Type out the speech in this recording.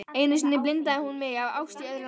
Einu sinni blindaði hún mig af ást í öðru landi.